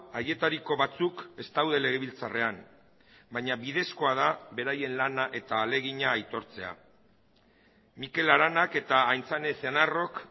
haietariko batzuk ez daude legebiltzarrean baina bidezkoa da beraien lana eta ahalegina aitortzea mikel aranak eta aintzane ezenarrok